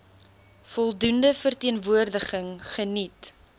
voldoende verteenwoordiging geniet